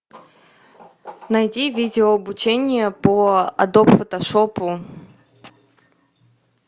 найди видео обучение по адоб фотошопу